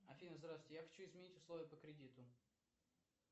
афина здравствуйте я хочу изменить условия по кредиту